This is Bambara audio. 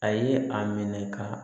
A ye a minɛ ka